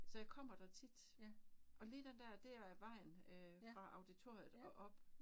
Så jeg kommer der tit og lige den dér det er vejen øh fra auditoriet og op